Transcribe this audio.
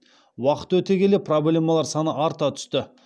уақыт өте келе проблемалар саны арта түсті